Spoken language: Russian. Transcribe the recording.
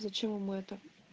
зачем вам это